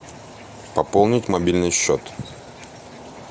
пополнить мобильный счет